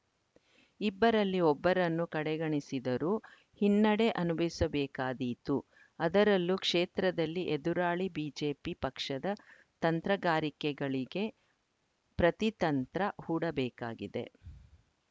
ಇಬ್ಬರಲ್ಲಿ ಒಬ್ಬರನ್ನು ಕಡೆಗಣಿಸಿದರೂ ಹಿನ್ನಡೆ ಅನುಭವಿಸಬೇಕಾದೀತು ಅದರಲ್ಲೂ ಕ್ಷೇತ್ರದಲ್ಲಿ ಎದುರಾಳಿ ಬಿಜೆಪಿ ಪಕ್ಷದ ತಂತ್ರಗಾರಿಕೆಗಳಿಗೆ ಪ್ರತಿತಂತ್ರ ಹೂಡಬೇಕಾಗಿದೆ